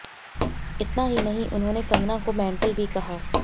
इतना ही नहीं उन्होंने कंगना को मेंटल भी कहा